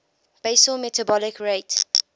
basal metabolic rate